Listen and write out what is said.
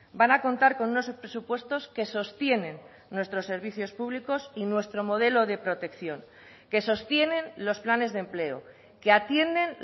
van a contar con unos presupuestos que sostienen nuestros servicios públicos y nuestro modelo de protección que sostienen los planes de empleo que atienden